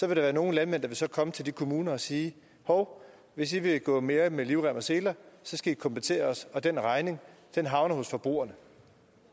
der være nogle landmænd der så vil komme til de kommuner og sige hov hvis i vil gå mere med livrem og seler så skal i kompensere os og den regning havner hos forbrugerne